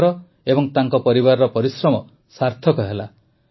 ତାଙ୍କର ଓ ତାଙ୍କ ପରିବାରର ପରିଶ୍ରମ ସାର୍ଥକ ହେଲା